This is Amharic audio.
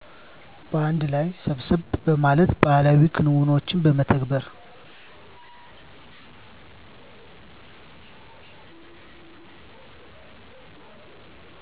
በአንድ ላይ ሰብሰብ በማለት ባህላዊ ክንውኖችን በመተግበር